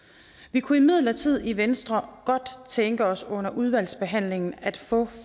vi kunne imidlertid i venstre godt tænke os under udvalgsbehandlingen at få